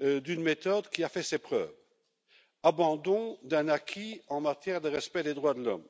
d'une méthode qui a fait ses preuves et abandon d'un acquis en matière de respect des droits de l'homme.